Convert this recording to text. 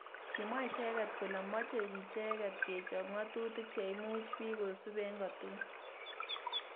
Kimwa icheket kole moche icheket kechop ngatutik cheimuch bik kosub eng kotukul